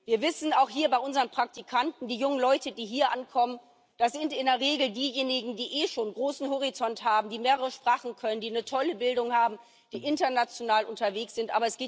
Wir wissen auch hier, bei unseren Praktikanten Die jungen Leute, die hier ankommen, das sind in der Regel diejenigen, die eh schon einen großen Horizont haben, die mehrere Sprachen können, die eine tolle Bildung haben, die international unterwegs sind.